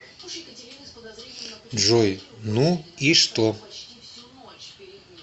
джой ну и что